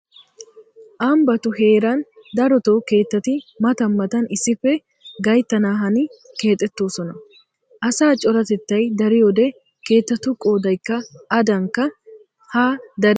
Ambbatu heeran daroto keettati matan matan issippe gayttana hani keexettoosona. Asaa coratettay dariyoode keettatu qoodaykka adaanikka haa dari daridi bees.